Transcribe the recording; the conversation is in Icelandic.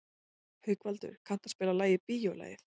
Haukvaldur, kanntu að spila lagið „Bíólagið“?